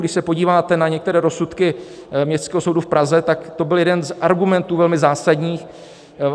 Když se podíváte na některé rozsudky Městského soudu v Praze, tak to byl jeden z argumentů velmi zásadních.